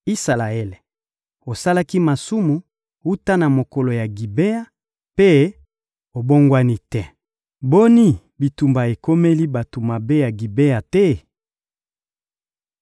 Isalaele, osalaki masumu wuta na mokolo ya Gibea mpe obongwani te. Boni, bitumba ekomeli bato mabe ya Gibea te?